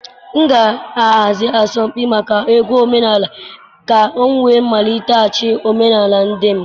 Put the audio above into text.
M ga-ahazi asọmpi maka egwu omenala ka m wee maliteghachi omenala ndị m.